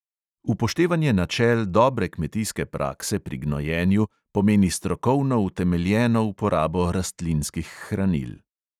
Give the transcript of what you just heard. Upoštevanje načel dobre kmetijske prakse pri gnojenju pomeni strokovno utemeljeno uporabo rastlinskih hranil.